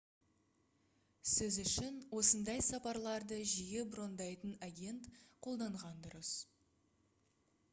сіз үшін осындай сапарларды жиі брондайтын агент қолданған дұрыс